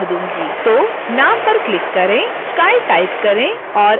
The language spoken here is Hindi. तो नाम पर क्लिक करें sky टाइप करें और enter दबाएं